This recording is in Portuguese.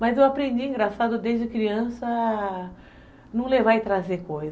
Mas eu aprendi, engraçado, desde criança a não levar e trazer coisa.